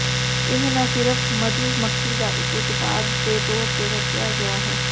ਇਹ ਨਾ ਸਿਰਫ ਮਧੂਮੱਖੀ ਦਾ ਇਕ ਉਤਪਾਦ ਦੇ ਤੌਰ ਤੇ ਵਰਤਿਆ ਗਿਆ ਹੈ